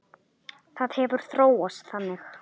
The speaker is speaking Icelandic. Það hefur þróast þannig.